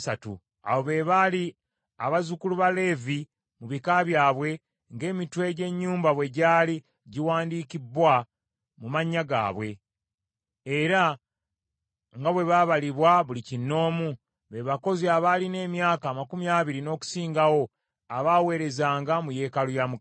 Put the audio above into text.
Abo be baali abazzukulu ba Leevi mu bika byabwe, ng’emitwe gy’ennyumba bwe gyali giwandiikibbwa mu mannya gaabwe, era nga bwe baabalibwa buli kinoomu, be bakozi abaalina emyaka amakumi abiri n’okusingawo abaaweerezanga mu yeekaalu ya Mukama .